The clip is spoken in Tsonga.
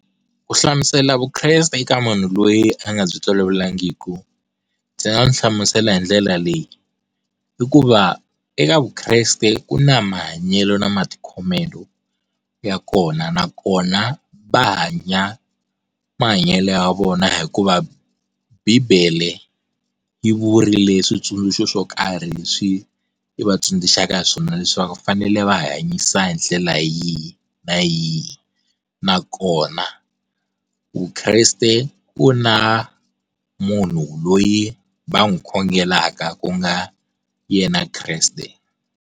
U hlamusela vukreste eka munhu loyi a nga byi tolovelekangiki ndzi nga n'wi hlamusela hi ndlela leyi i ku va eka vukreste ku na mahanyelo na matikhomelo ya kona nakona va hanya mahanyele ya vona hikuva bibele yi vurile switsundzuxo swo karhi leswi i vatsundzuxaka swona leswi va fanele va hanyisa hi ndlela yihi na yi nakona vukreste ku na munhu loyi va n'wi khongelaka ku nga yena Kreste.